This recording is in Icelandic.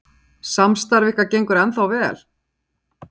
Lillý: Samstarf ykkar gengur ennþá vel?